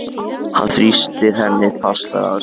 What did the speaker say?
Hann þrýstir henni enn fastar að sér.